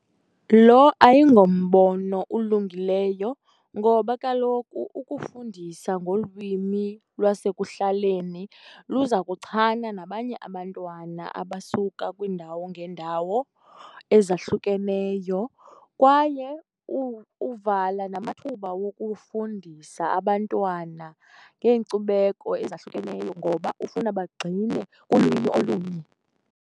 Lo ayingombono ulungileyo ngoba kaloku ukufundisa ngolwimi lwasekuhlaleni luza kuchana nabanye abantwana abasuka kwiindawo ngeendawo ezahlukeneyo, kwaye uvala namathuba wokufundisa abantwana ngeenkcubeko ezahlukeneyo ngoba ufuna bagxile kulwimi olunye.